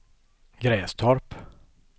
Grästorp